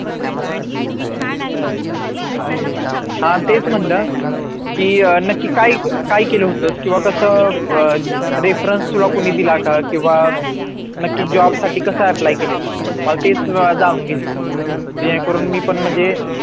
हा तेच म्हणलं की अं नक्की काय काय केलं होतस किंवा कसं अह reference तुला कोणी दिला का किंवा नक्की job साठी कसं apply केलेलं? मला तेच जाणून घायचं होतं